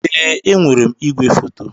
Ee, enwere m ìgwè foto.